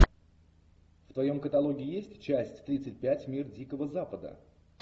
в твоем каталоге есть часть тридцать пять мир дикого запада